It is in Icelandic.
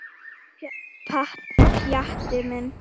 Pjatti minn.